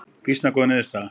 Býsna góð niðurstaða